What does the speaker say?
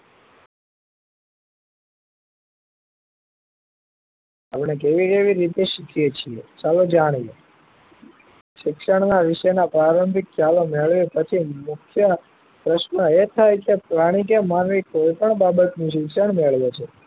આપડે જોઈ કેવી રીતે શકીએ છીએ ચાલો જાણીએ શિક્ષણ નાં વિષય નાં પ્રારંભિક ખ્યાલો મેળવી પછી મુખ્ય પ્રશ્ન એ થાય કે પ્રાણી કે માનવી કોઈ પણ બાબત નું શિક્ષણ મેળવે છે